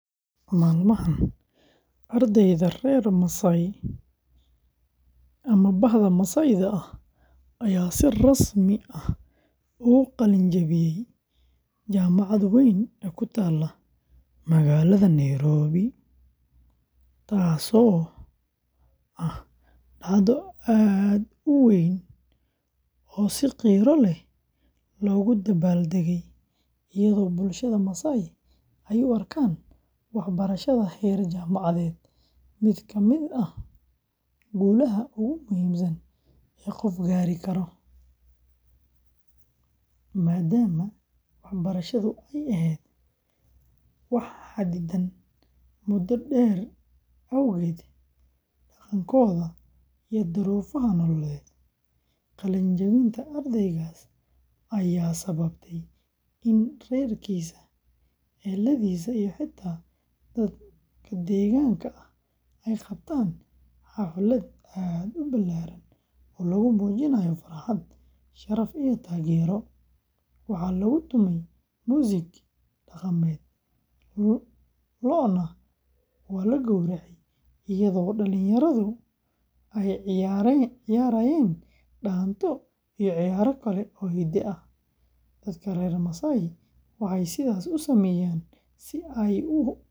Maalmahan, arday reer Maasai ah ayaa si rasmi ah uga qalin jabiyay jaamacad weyn oo ku taalla magaalada Nairobi, taasoo ah dhacdo aad u weyn oo si qiiro leh loogu dabaal degay, iyadoo bulshada Maasai ay u arkaan waxbarashada heer jaamacadeed mid ka mid ah guulaha ugu muhiimsan ee qof gaari karo, maadaama waxbarashadu ay ahayd wax xaddidan muddo dheer awgeed dhaqankooda iyo duruufaha nololeed. Qalin jabinta ardaygaas ayaa sababtay in reerkiisa, eheladiisa iyo xitaa dad deegaanka ah ay qabtaan xaflad aad u ballaaran oo lagu muujinayo farxad, sharaf iyo taageero; waxaa lagu tumay muusig dhaqameed, lo'na waa la gowracay, iyadoo dhallinyaradu ay ciyaarayeen dhaanto iyo ciyaaro kale oo hidde ah. Dadka reer Maasai waxay sidaas u sameeyaan si ay u muujiyaan muhiimadda.